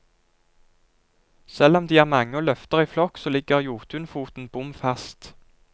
Selv om de er mange og løfter i flokk, så ligger jotunfoten bom fast.